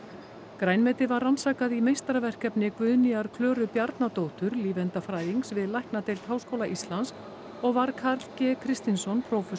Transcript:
grænmetið var rannsakað í meistaraverkefni Guðnýjar Klöru Bjarnadóttur lífeindafræðings við læknadeild Háskóla Íslands og var Karl g Kristinsson prófessor